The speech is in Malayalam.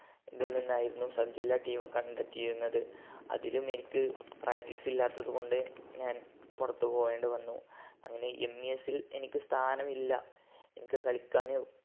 ഇതിൽ നിന്നായിരുന്നു sub ജില്ലാ team ഉം കണ്ടെത്തിയിരുന്നത് അതിലും എനിക്ക് practice ഇല്ലാത്തതുകൊണ്ട് ഞാൻ പുറത്തുപോകേണ്ടിവന്നു അങ്ങനെ MES ൽ എനിക്ക് സ്ഥാനമില്ല എനിക്ക് കളിക്കാന്